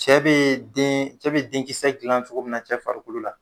Cɛ bee deen cɛ be den kisɛ dilan cogo min na cɛ farikolo la